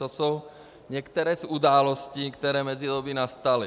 To jsou některé z událostí, které v mezidobí nastaly.